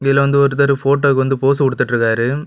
இதுல வந்து ஒருத்தர் போட்டோவுக்கு போஸ் குடுத்துட்ருக்காரு.